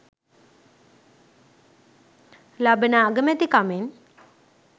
ලබන අගමැතිකමෙන්